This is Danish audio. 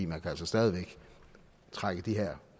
man kan altså stadig væk trække de her